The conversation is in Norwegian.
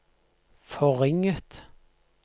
forringet